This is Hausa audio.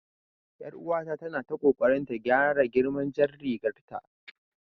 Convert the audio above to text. Yar uwata tana ta kokarin gyara girman jar rigar ta jiya